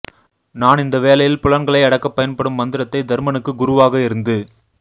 நான் இந்த வேளையில் புலன்களை அடக்கப் பயன்படும் மந்திரத்தை தர்மனுக்கு குருவாக இருந்து